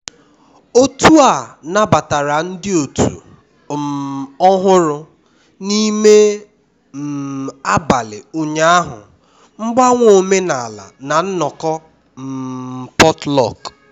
otu a nabatara ndị otu um ọhụrụ n'ime um abalị ụnyaahụ mgbanwe omenala na nnọkọ um potluck